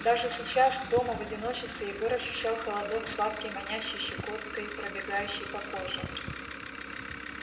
даже сейчас дома в одиночестве егор ощущал холодок сладкий манящий щекоткой пробегающий по коже